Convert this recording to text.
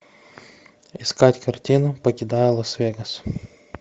искать картину покидая лас вегас